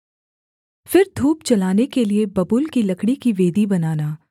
फिर धूप जलाने के लिये बबूल की लकड़ी की वेदी बनाना